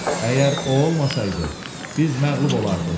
Əgər o olmasaydı, biz məğlub olardıq.